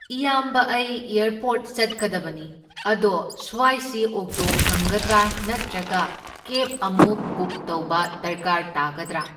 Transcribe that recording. ꯏꯌꯥꯝꯕ ꯑꯩ ꯑꯦꯔꯄꯣꯠ ꯆꯠꯀꯗꯕꯅꯤ, ꯑꯗꯣ ꯁ꯭ꯋꯥꯏꯁꯤ ꯑꯣꯛꯇꯣ ꯐꯪꯒꯗ꯭ꯔꯥ? ꯅꯇ꯭ꯔꯒ ꯀꯦꯞ ꯑꯃꯨꯛ ꯕꯨꯛ ꯇꯧꯕ ꯗꯔꯀꯥꯔ ꯇꯥꯒꯗ꯭ꯔꯥ?